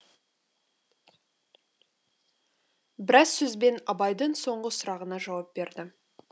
біраз сөзбен абайдың соңғы сұрағына жауап берді